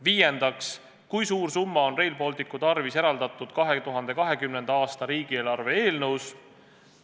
Viiendaks, kui suur summa on Rail Balticu tarvis eraldatud 2020. aasta riigieelarve eelnõus?